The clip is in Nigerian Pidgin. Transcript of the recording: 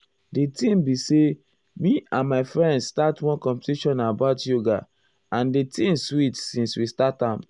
di thing be say me and my friends start one competition about yoga and di thing sweet since we start am.